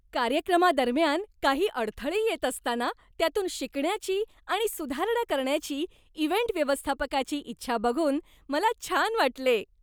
कार्यक्रमादरम्यान काही अडथळे येत असताना, त्यातून शिकण्याची आणि सुधारणा करण्याची इव्हेंट व्यवस्थापकाची इच्छा बघून मला छान वाटले.